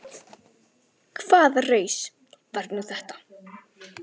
BOGGA: Hvaða raus var nú þetta?